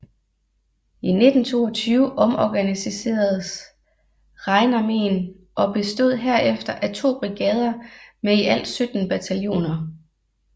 I 1922 omorganiseredes Rheinarméen og bestod hefter af to brigader med i alt 17 bataljoner